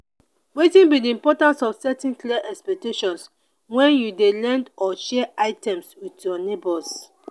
wetin be di importance of setting clear expectations when you dey lend or share items with your neighbors?